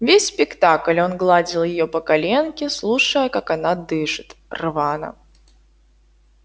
весь спектакль он гладил её по коленке слушая как она дышит рвано